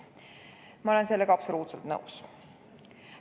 Ma olen sellega absoluutselt nõus.